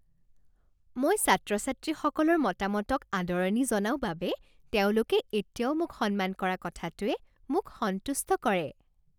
মই ছাত্ৰ ছাত্ৰীসকলৰ মতামতক আদৰণি জনাওঁ বাবে তেওঁলোকে এতিয়াও মোক সন্মান কৰা কথাটোৱে মোক সন্তুষ্ট কৰে।